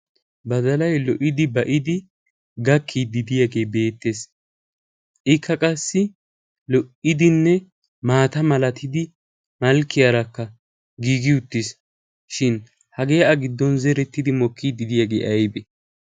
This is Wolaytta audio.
ba dalay lo'idi ba'idi gakkiiddidiyaagee beettees. ikka qassi lo'idinne maata malatidi malkkiyaarakka giigi uttiis. shin hagee a giddon zerettidi mokkiiddidiyaagee aybe?